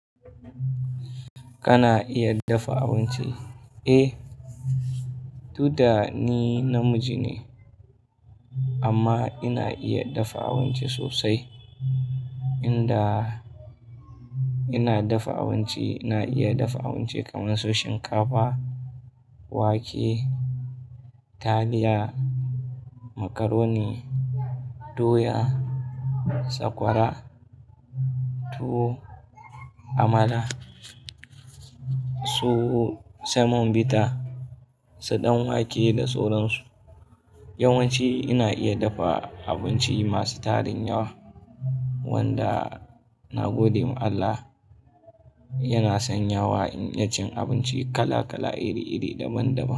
Kana iya dafa abinci? Eh, duk da ni namiji ne amma ina iya dafa abinci sosai. Inda ina dafa abinci ina iya dafa abinci kamar su shinkafa, wake, taliya, macaroni, doya, sakwara, tuwo, amala, tuwo samon bita, su dan wake da sauran su. Yawanci ina iya dafa abinci masu tarin yawa wanda nagode ma Allah yana sanyawa in iya cin abinci kala kala iri iri daban daban.